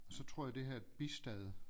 Så tror jeg det her er et bistad